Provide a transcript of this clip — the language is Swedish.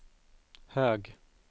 hög